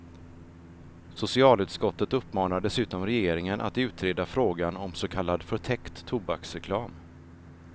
Socialutskottet uppmanar dessutom regeringen att utreda frågan om så kallad förtäckt tobaksreklam.